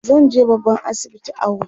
zanje babban asibiti awo